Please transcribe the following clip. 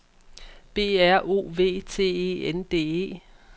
B R O V T E N D E